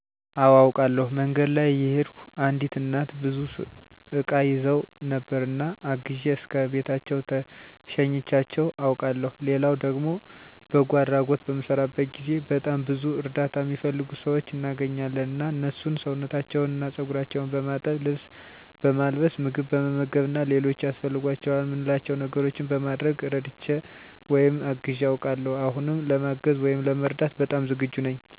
አወ አውቃለሁ። መንገድ ላይ እየሄድኩ አንዲት እናት ብዙ እቃ ይዘው ነበር እና አግዤ እስከ ቤታቸው ሸኝቻቸው አውቃለሁ ሌላው ደግሞ በጎ አድራጎት በምሰራበት ጊዜ በጣም ብዙ እርዳታ እሚፈልጉ ሰዎች እናገኛለን እና እነሱን ሰውነታቸውን እና ፀጉራቸውን በማጠብ፣ ልብስ በማልበስ፣ ምግብ በመመገብ እና ሌሎች ያስፈልጓቸዋል እምንላቸው ነገሮች በማድረግ እረድቼ ወይም አግዤ አውቃለሁ። አሁንም ለማገዝ ወይም ለመርዳት በጣም ዝግጁ ነኝ።